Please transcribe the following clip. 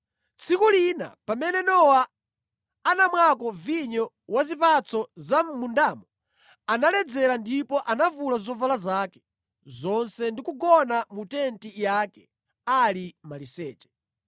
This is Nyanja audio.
Tsiku lina pamene Nowa anamwako vinyo wa zipatso za mʼmundawo analedzera ndipo anavula zovala zake zonse ndi kugona mu tenti yake ali maliseche.